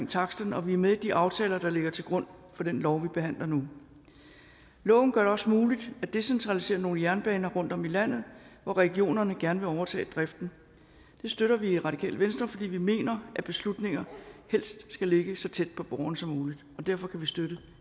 taksterne og vi er med i de aftaler der ligger til grund for den lov vi behandler nu loven gør det også muligt at decentralisere nogle jernbaner rundtom i landet hvor regionerne gerne vil overtage driften det støtter vi i radikale venstre fordi vi mener at beslutninger helst skal ligge så tæt på borgeren som muligt derfor kan vi støtte